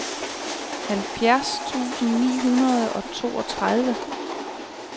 halvfjerds tusind ni hundrede og toogtredive